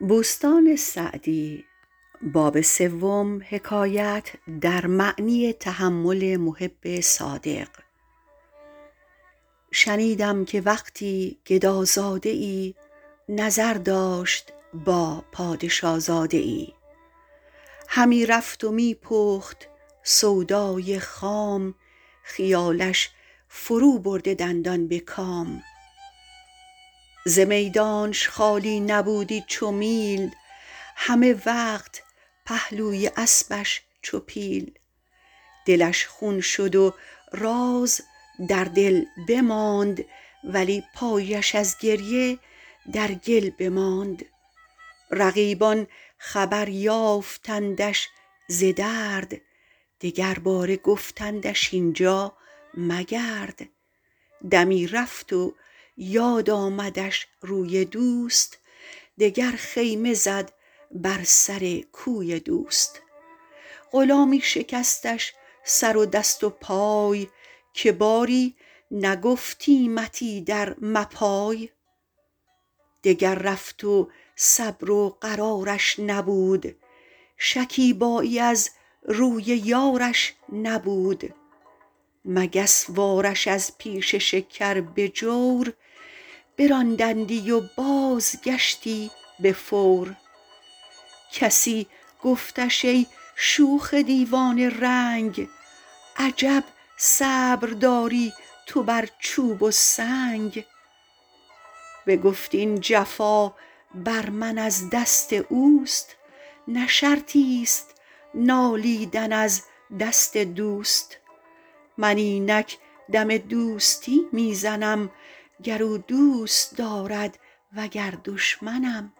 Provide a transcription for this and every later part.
شنیدم که وقتی گدازاده ای نظر داشت با پادشازاده ای همی رفت و می پخت سودای خام خیالش فرو برده دندان به کام ز میدانش خالی نبودی چو میل همه وقت پهلوی اسبش چو پیل دلش خون شد و راز در دل بماند ولی پایش از گریه در گل بماند رقیبان خبر یافتندش ز درد دگرباره گفتندش اینجا مگرد دمی رفت و یاد آمدش روی دوست دگر خیمه زد بر سر کوی دوست غلامی شکستش سر و دست و پای که باری نگفتیمت ایدر مپای دگر رفت و صبر و قرارش نبود شکیبایی از روی یارش نبود مگس وار ش از پیش شکر به جور براندندی و بازگشتی به فور کسی گفتش ای شوخ دیوانه رنگ عجب صبر داری تو بر چوب و سنگ بگفت این جفا بر من از دست اوست نه شرطی ست نالیدن از دست دوست من اینک دم دوستی می زنم گر او دوست دارد وگر دشمنم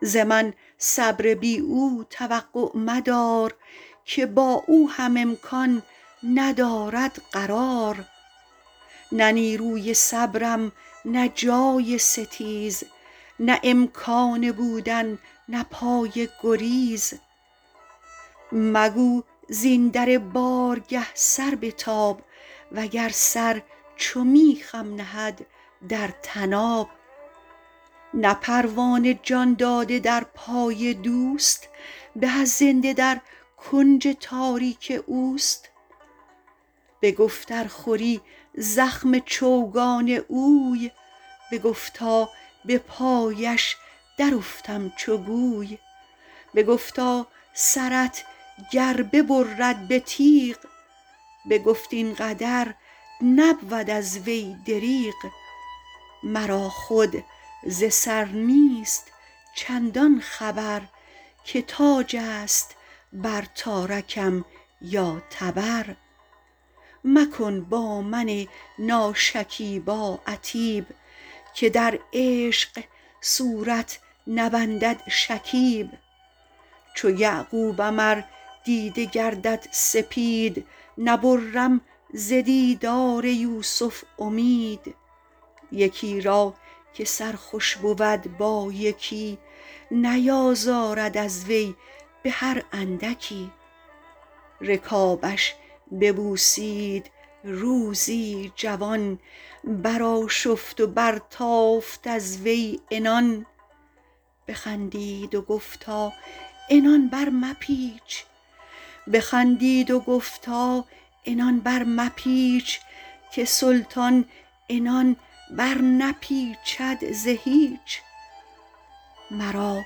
ز من صبر بی او توقع مدار که با او هم امکان ندارد قرار نه نیروی صبرم نه جای ستیز نه امکان بودن نه پای گریز مگو زین در بارگه سر بتاب وگر سر چو میخم نهد در طناب نه پروانه جان داده در پای دوست به از زنده در کنج تاریک اوست بگفت ار خوری زخم چوگان اوی بگفتا به پایش در افتم چو گوی بگفتا سرت گر ببرد به تیغ بگفت این قدر نبود از وی دریغ مرا خود ز سر نیست چندان خبر که تاج است بر تارکم یا تبر مکن با من ناشکیبا عتیب که در عشق صورت نبندد شکیب چو یعقوبم ار دیده گردد سپید نبرم ز دیدار یوسف امید یکی را که سر خوش بود با یکی نیازارد از وی به هر اندکی رکابش ببوسید روزی جوان برآشفت و برتافت از وی عنان بخندید و گفتا عنان برمپیچ که سلطان عنان برنپیچد ز هیچ مرا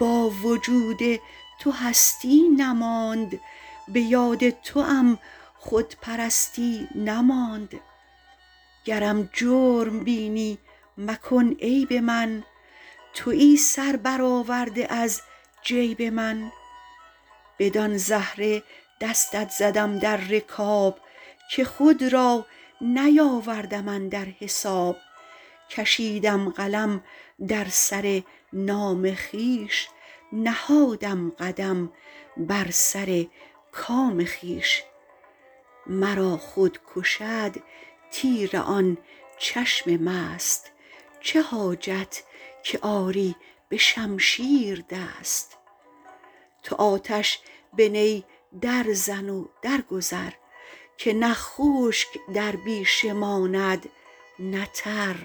با وجود تو هستی نماند به یاد توام خودپرستی نماند گرم جرم بینی مکن عیب من تویی سر بر آورده از جیب من بدان زهره دستت زدم در رکاب که خود را نیاوردم اندر حساب کشیدم قلم در سر نام خویش نهادم قدم بر سر کام خویش مرا خود کشد تیر آن چشم مست چه حاجت که آری به شمشیر دست تو آتش به نی در زن و در گذر که نه خشک در بیشه ماند نه تر